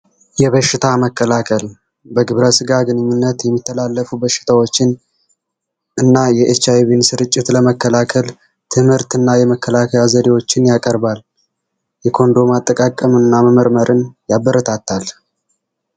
የበሽታ መከላከል በግብረ ስጋ ግንኙነት የሚተላለፉ በሽታዎችን እና የኤች አይቪ ስርጭት ለመከላከል ትምህርት እና የመከላከል ዘዴዎችን ያቀርባል። የኮንዶም አጠቃቀም እና መመርመርን ያበረታታል።